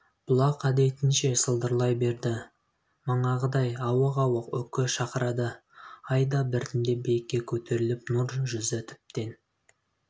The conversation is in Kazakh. бұлақ әдетінше сылдырлай берді манағыдай ауық-ауық үкі шақырады ай да біртіндеп биікке көтеріліп нұр жүзі тіптен